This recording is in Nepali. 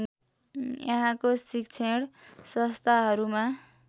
यहाँको शिक्षण संस्थाहरूमा